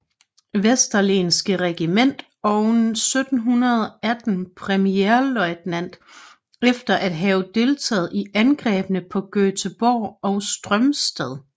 Vesterlenske Regiment og 1718 premierløjtnant efter at have deltaget i angrebene på Göteborg og Strømstad